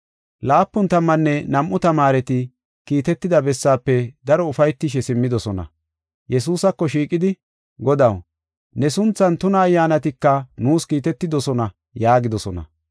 Laapun tammanne nam7u tamaareti kiitetida bessaafe daro ufaytishe simmidosona. Yesuusako shiiqidi, “Godaw, ne sunthan tuna ayyaanatika nuus kiitetidosona” yaagidosona.